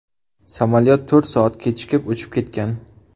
Samolyot to‘rt soat kechikib uchib ketgan.